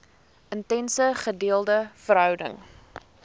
intense gedeelde verhouding